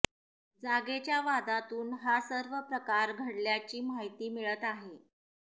जागेच्या वादातून हा सर्व प्रकार घडल्याची माहिती मिळत आहे